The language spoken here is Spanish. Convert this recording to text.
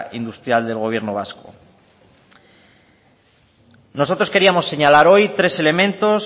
industrial del gobierno vasco nosotros queríamos señalar hoy tres elementos